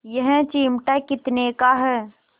यह चिमटा कितने का है